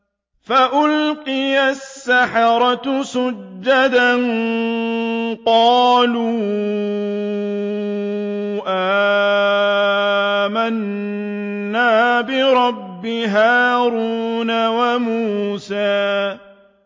فَأُلْقِيَ السَّحَرَةُ سُجَّدًا قَالُوا آمَنَّا بِرَبِّ هَارُونَ وَمُوسَىٰ